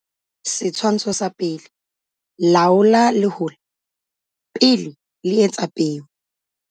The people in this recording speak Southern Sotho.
Setshwantsho sa 1. Laola lehola pele le etsa peo.